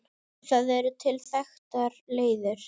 Það eru til þekktar leiðir.